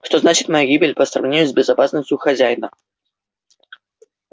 что значит моя гибель по сравнению с безопасностью хозяина